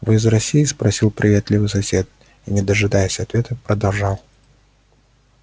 вы из россии спросил приветливый сосед и не дожидаясь ответа продолжал